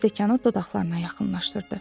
Və stəkanı dodaqlarına yaxınlaşdırdı.